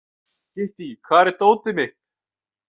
Kittý, hvar er dótið mitt?